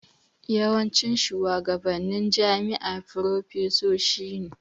Yawancin shuwagabannin jami'a farfesoshi ne.